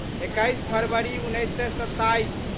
एकैस फरवरी उन्नैस सए सत्ताइस